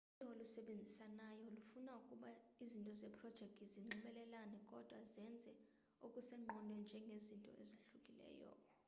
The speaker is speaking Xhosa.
uyilo olusebenzisanayo lufuna ukuba izinto zeprojekthi zinxibelelane kodwa zenze okusezingqondweni njengezinto ezahlukileyo